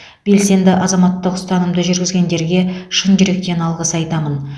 белсенді азаматтық ұстанымды жүргізгендерге шын жүректен алғыс айтамын